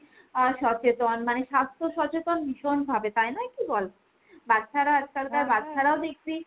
এ সচেতন, মানে স্বাস্থ্য সচেতন ভীষণভাবে তাই নয় কি বল ? বাচ্ছারা আজকাল বাচ্ছারাও দেখবি,